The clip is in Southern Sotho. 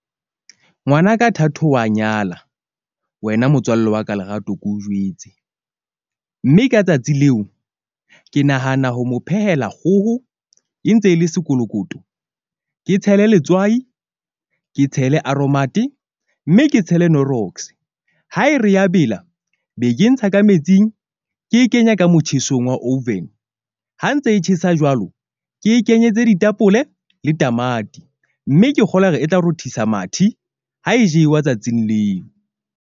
Ngwanaka Thato wa nyala wena motswalle wa ka Lerato ke o jwetse. Mme ka tsatsi leo ke nahana ho mo phehela kgoho e ntse e le sekolokoto. Ke tshele letswai, ke tshele aromat-e mme ke tshele knorox. Ha e re ya bela be ke e ntsha ka metsing ke e kenya ka motjhesong wa oven. Ha ntse e tjhesa jwalo, ke kenyetse ditapole le tamati, mme ke kgolwa hore e tla rothisa mathe ha e jewa tsatsing leo.